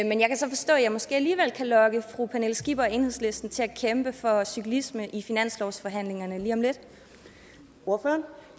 jeg måske alligevel kan lokke fru pernille skipper og enhedslisten til at kæmpe for cyklisme i finanslovsforhandlingerne